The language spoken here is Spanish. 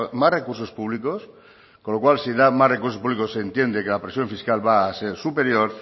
más recursos públicos con lo cual si da más recursos públicos se entiende que la presión fiscal va a ser superior